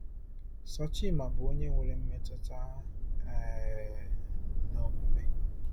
Sochimma bụ onye nwere mmetụta um na omume